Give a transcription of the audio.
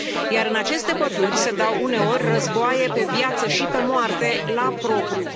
Iar în aceste păduri se dau uneori războaie pe viață și pe moarte, la propriu.